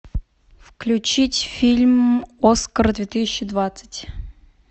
включить фильм оскар две тысячи двадцать